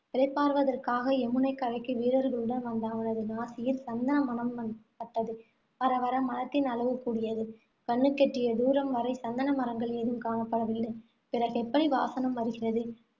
இளைப்பாறுவதற்காக யமுனைக்கரைக்கு வீரர்களுடன் வந்த அவனது நாசியில் சந்தன மணம் பட்டது. வரவர மணத்தின் அளவு கூடியது. கண்ணுக்கெட்டிய தூரம் வரை சந்தன மரங்கள் ஏதும் காணப்படவில்லை. பிறகெப்படி வாசனம் வருகிறது